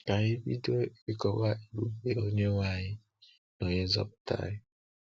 Ka anyị bido ịkọwa Ebube Onye-nwe anyị na Onye-nzọpụta anyị!